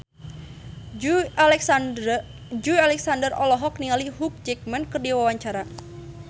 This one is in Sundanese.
Joey Alexander olohok ningali Hugh Jackman keur diwawancara